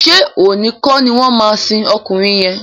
Ṣé òní kọ́ ni wọ́n máa sin ọkùnrin yẹn?